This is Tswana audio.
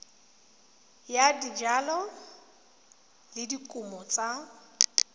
ya dijalo le dikumo tsa